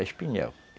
É espinhel.